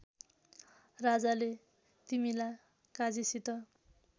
राजाले तिमीला काजीसित